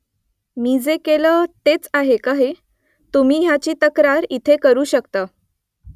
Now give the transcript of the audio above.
मी जे केलं , तेच आहे का हे ? तुम्ही ह्याची तक्रार इथे करू शकता